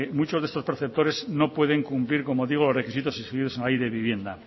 muchos de estos perceptores no pueden cumplir como digo los requisitos exigidos en la ley de vivienda